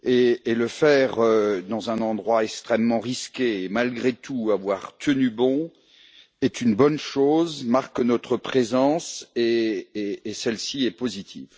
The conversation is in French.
S'y rendre dans un endroit extrêmement risqué, et malgré tout avoir tenu bon, est une bonne chose, marque notre présence et celle ci est positive.